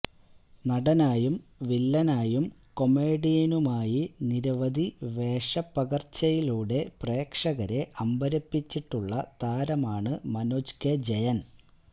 നടനായും വില്ലനായും കൊമേഡിയനുമായി നിരവധി വേഷപ്പകര്ച്ചയിലൂടെ പ്രേക്ഷകരെ അമ്പരപ്പിച്ചിട്ടുള്ള താരമാണ് മനോജ് കെ ജയന്